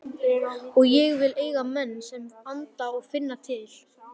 Og ég vil eiga menn sem anda og finna til.